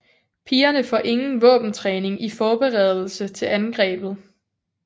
Pigerne får ingen våbentræning i forberedelse til angrebet